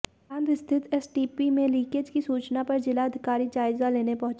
बांध स्थित एसटीपी में लीकेज के सूचना पर जिलाधिकारी जायजा लेने पहुंचे